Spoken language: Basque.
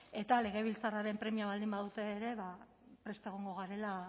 eta legebiltzarraren premia baldin badute ere ba prest egongo garela